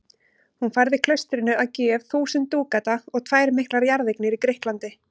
Hún færði klaustrinu að gjöf þúsund dúkata og tvær miklar jarðeignir í Grikklandi.